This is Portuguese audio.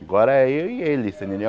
Agora é eu e ele. Você entendeu